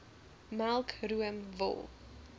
melk room wol